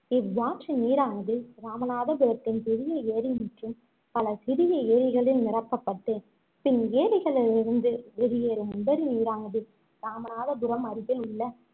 இவ்வாற்றின் நீரானது இராமநாதபுரத்தின் பெரிய ஏரி மற்றும் பல சிறிய ஏரிகளில் நிரப்பப்பட்டு பின் ஏரிகளிலிருந்து வெளியேறும் உபரி நீரானது இராமநாதபுரம் அருகில் உள்ள